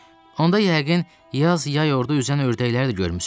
Onda yəqin, yaz yay orda üzən ördəkləri də görmüsüz.